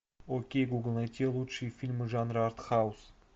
окей гугл найти лучшие фильмы жанра артхаус